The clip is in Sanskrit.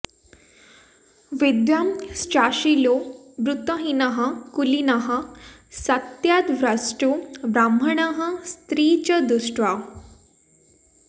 विद्वांश्चाशीलो वृत्तहीनः कुलीनः सत्याद्भ्रष्टो ब्राह्मणः स्त्री च दुष्टा